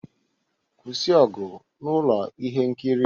Kwụsị ọgụ na ụlọ ihe nkiri!